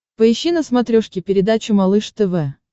поищи на смотрешке передачу малыш тв